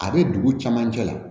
A bɛ dugu caman cɛ la